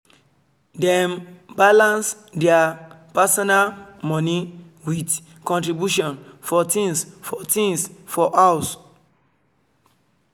dem balance their personal money with contribution for things for things for house